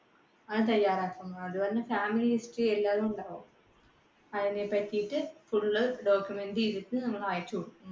അത് തയ്യാറാക്കുന്നത്. അതുപോലെ അതിനെ പറ്റിയിട്ട് full ഉം document ചെയ്തിട്ട് നമ്മൾ അയച്ചുകൊടുക്കും.